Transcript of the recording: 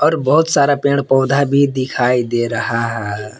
बहुत सारा पेड़ पौधा भी दिखाई दे रहा है।